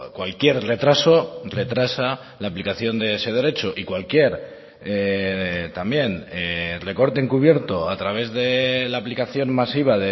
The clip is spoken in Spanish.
cualquier retraso retrasa la aplicación de ese derecho y cualquier también recorte encubierto a través de la aplicación masiva